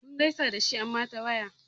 Mun gaisa da shi amma ta waya.